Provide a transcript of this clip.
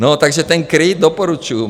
No, takže ten KRIT doporučuju.